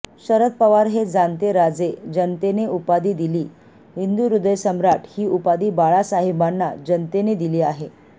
शरद पवार हे जाणते राजे जनतेने उपाधी दिली हिंदूहृदयसम्राट ही उपाधी बाळासाहेबांना जनतेने दिली आहे